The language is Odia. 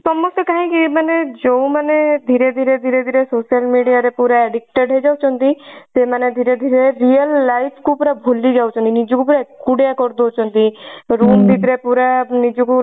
ସମସ୍ତେ କାହିଁକି ମାନେ ଯଉ ମାନେ ଧୀରେ ଧୀରେ ଧୀରେ ଧୀରେ social media ରେ ପୁରା addicted ହେଇଯାଉଛନ୍ତି ସେମାନେ ଧୀରେ ଧୀରେ real life କୁ ପୁରା ଭୁଲି ଯାଉଛନ୍ତି ନିଜକୁ ପୁରା ଏକୁଟିଆ କରି ଦଉଛନ୍ତି room ଭିତରେ ପୁରା ନିଜକୁ